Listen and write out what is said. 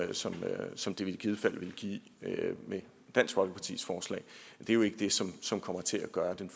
som som det i givet fald ville give med dansk folkepartis forslag er jo ikke det som som kommer til at gøre den